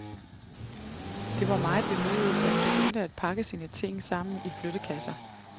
Det var meget vemodigt, da han begyndte at pakke sine ting sammen i flyttekasser.